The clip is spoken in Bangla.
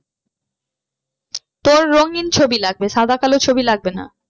তোর রঙিন ছবি লাগবে সাদা কালো ছবি লাগবে না।